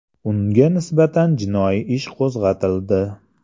Unga nisbatan jinoiy ish qo‘zg‘atildi.